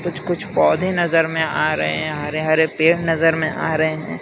कुछ कुछ पौधे नजर में आ रहे हैं हरे हरे पेड़ नजर में आ रहे हैं।